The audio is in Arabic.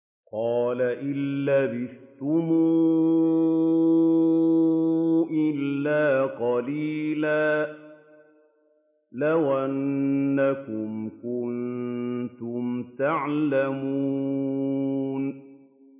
قَالَ إِن لَّبِثْتُمْ إِلَّا قَلِيلًا ۖ لَّوْ أَنَّكُمْ كُنتُمْ تَعْلَمُونَ